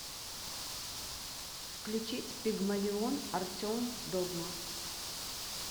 включить пигмалион артем догма